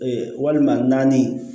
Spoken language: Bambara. walima naani